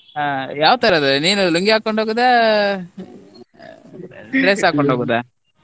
ಹಾ ಯಾವ್ ತರದಲ್ಲಿ ನೀನು ಲುಂಗಿ ಹಾಕೊಂಡ್ ಹೋಗುದಾ ಹಾಕೊಂಡು ಹೋಗುದಾ?